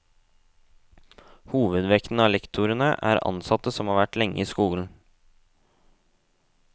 Hovedvekten av lektorene er ansatte som har vært lenge i skolen.